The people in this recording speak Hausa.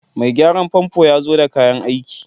Mai gyaran famfo ya zo da kayan aiki